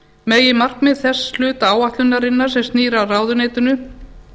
meginmarkmið þess hluta áætlunarinnar sem snýr að ráðuneytinu